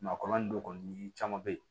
Maakɔrɔba n'o kɔni caman be yen